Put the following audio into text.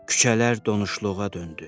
Küçələr donuşluğa döndü.